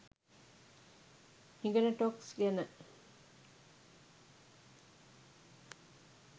හිගන ටොක්ස් ගැන.